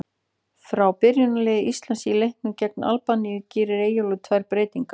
Frá byrjunarliði Íslands í leiknum gegn Albaníu gerir Eyjólfur tvær breytingar.